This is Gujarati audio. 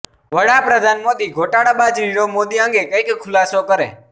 વડાપ્રધાન મોદી ઘોટાળાબાજ નિરવ મોદી અંગે કઈક ખુલાસો કરે